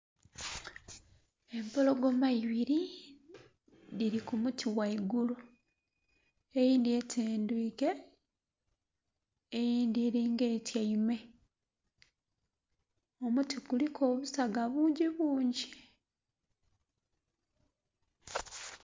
Empologoma ibiri dhiri kumuti ghaigulu eyindhi etendwiike, eyindhi eri nga etyaime kumuti kuliku obusaga bungi bungi.